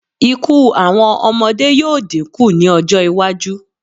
Ikú àwọn ọmọdé yóò dínkù ní ọjọ́-iwájú.